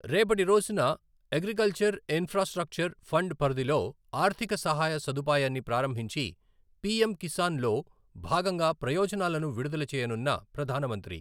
రేపటి రోజున agriculture infrastructure fund పరిధిలో ఆర్థిక సహాయ సదుపాయాన్ని ప్రారంభించి, పిఎమ్ కిసాన్ లో భాగంగా ప్రయోజనాలను విడుదల చేయనున్న ప్రధాన మంత్రి